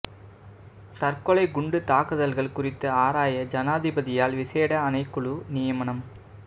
தற்கொலை குண்டு தாக்குதல்கள் குறித்த ஆராய ஜனாதிபதியால் விசேட ஆணைக்குழு நியமனம்